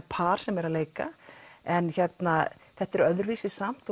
par sem er að leika en þetta er öðruvísi samt